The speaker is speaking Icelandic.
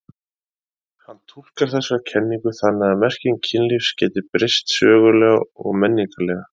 Hann túlkar þessa kenningu þannig að merking kynlífs geti breyst sögulega og menningarlega.